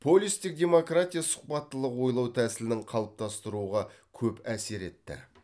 полистік демократия сұхбаттылық ойлау тәсілінің қалыптастыруға көп әсер етті